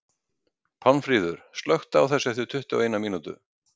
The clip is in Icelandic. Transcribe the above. Pálmfríður, slökktu á þessu eftir tuttugu og eina mínútur.